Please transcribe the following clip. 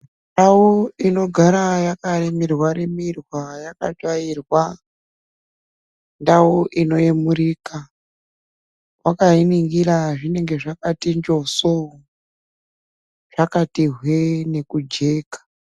Ndau inogara yakarimirwa rimirwa yakatsvairwa ndau inoemurika wakainingira zvinenge zvakati njosooo zvakati hwee nekujeka.